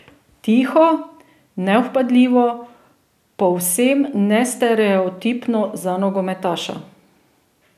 Tiho, nevpadljivo, povsem nestereotipno za nogometaša.